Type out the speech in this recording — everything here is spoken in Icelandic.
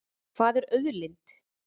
Hvað er auðlind?